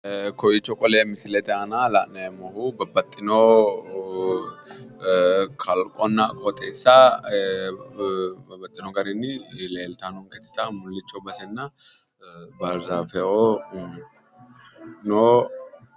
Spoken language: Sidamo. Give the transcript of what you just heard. Ee kowicho qole misilete aana la'neemmohu babbaxxino kalaqonna qooxeessa babbaxxino garinni leeltanno leeltawo mullicho basenna baarzaafe'oo no